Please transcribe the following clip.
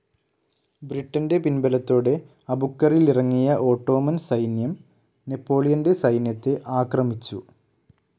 ബ്രിട്ടൻ്റെ പിൻബലത്തോടെ അബുക്കറിലിറങ്ങിയ ഓട്ടോമൻ സൈന്യം നെപ്പോളിയൻ്റെ സൈന്യത്തെ ആക്രമിച്ചു.